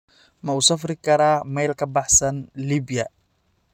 Ma u safri karaa meel ka baxsan Liibiya?